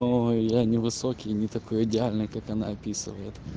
ой я невысокий и не такой идеальный как она описывает